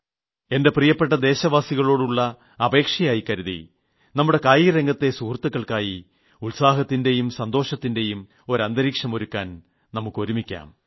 എന്റെ പ്രിയപ്പെട്ട ദേശവാസികളോടുളള അപേക്ഷയായി കരുതി നമ്മുടെ കായിക രംഗത്തെ സുഹൃത്തുക്കൾക്കായി ഉത്സാഹത്തിന്റെയും സന്തോഷത്തിന്റെയും ഒരു അന്തരീക്ഷം ഒരുക്കാൻ നമുക്കൊരുമിക്കാം